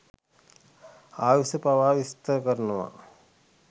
ආයුෂ පවා විස්තර කරනවා.